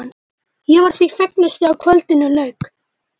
Ég var því fegnust þegar kvöldinu lauk.